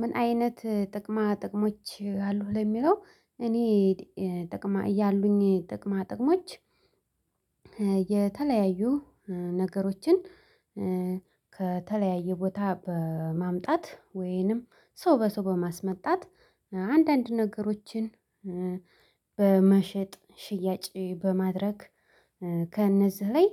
ምን አይነት ጥቅማ ጥቅሞች አሉህ ለሚለው እኔ ጥቅማ ያሉኝ ጥቅማ ጥቅሞች። የተለያዩ ነገሮችን ከተለያዩ ቦታ በማምጣት ወይንም ሰው በሰው በማስመጣት አንዳንድ ነገሮችን በመሸጥ ሽያጭ በማድረግ። ከእነዚህ ላይ